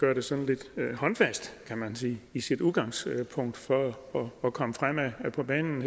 gør det sådan lidt håndfast kan man sige i sit udgangspunkt for at komme fremad på banen